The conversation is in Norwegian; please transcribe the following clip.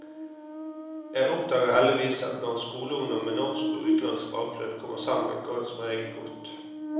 Jeg oppdager heldigvis at når skoleungdom med norsk og utenlandsk bakgrunn kommer sammen, går det som regel godt.